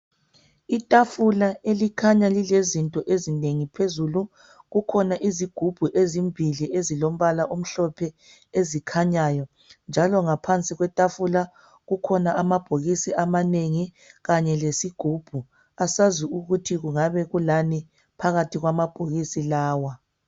Itafula elikhanya lilezinto ezinengi phezulu. Kukhona izigubhu ezimbili, ezilombala omhlophe ezikhanyayo, njalo ngaphansi kwetafula kukhona amabhokisi amanengi. Kanye lesigubhu. Asazi ukuthi kungabe kulani phakathi kwamabhokisi lawa.